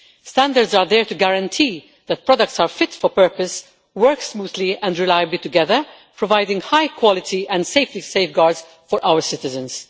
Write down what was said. Standards are there to guarantee that products are fit for purpose, work smoothly and reliably together, providing high quality and safety safeguards for our citizens.